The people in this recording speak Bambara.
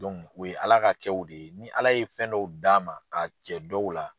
u ye Ala ka kɛw de ye ni Ala ye fɛn dɔw d'a ma k'a cɛ dɔw la